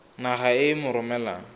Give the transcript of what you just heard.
naga e e mo romelang